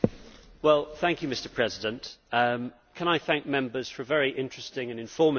Mr President, can I thank Members for a very interesting and informative debate.